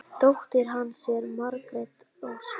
Dóttir hans er Margrét Ósk.